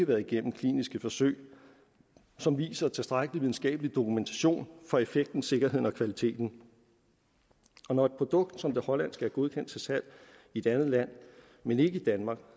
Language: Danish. været igennem kliniske forsøg som viser tilstrækkelig videnskabelig dokumentation for effekten sikkerheden og kvaliteten når et produkt som det hollandske er godkendt til salg i et andet land men ikke i danmark